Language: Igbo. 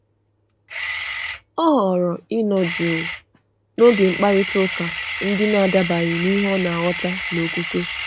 Ọ họrọ̀ ịnọ jụụ n’oge mkparịta ụka ndị na-adabaghị na ihe ọ na-aghọta n’okwukwe.